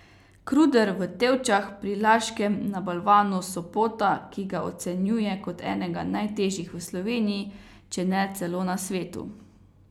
Kruder v Tevčah pri Laškem na balvanu Sopota, ki ga ocenjuje kot enega najtežjih v Sloveniji, če ne celo na svetu.